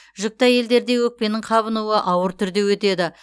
жүкті әйелдерде өкпенің қабынуы ауыр түрде өтеді